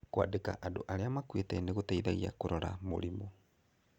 Kũandĩka andũ arĩa makuĩte nĩ gũteithagia kũrora mũrimũ.